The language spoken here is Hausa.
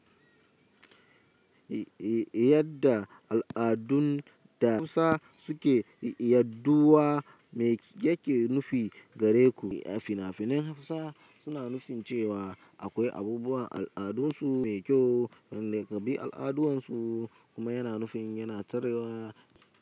Yadda al'adun da Hausa suke yaɗuwa mai yake nufi gare ku? Finafinan Hausa suna nufin cewa akwai abubuwan al'adunsu mai kyau. Kyan laƙabi al'aduwan su kuma yana nufin yana taruwa.